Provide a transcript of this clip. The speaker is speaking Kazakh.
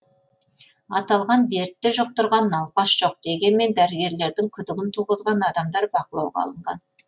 аталған дертті жұқтырған науқас жоқ дегенмен дәрігерлердің күдігін туғызған адамдар бақылауға алынған